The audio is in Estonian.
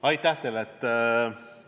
Aitäh teile!